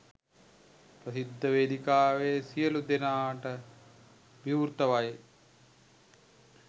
ප්‍රසිද්ධ වේදිකාවේ සියළු දෙනටම විව්‍රතවයි.